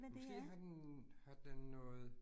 Måske har den har den noget